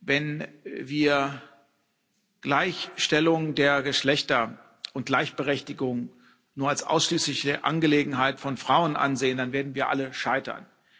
Wenn wir Gleichstellung der Geschlechter und Gleichberechtigung nur als ausschließliche Angelegenheit von Frauen ansehen, dann werden wir alle scheitern.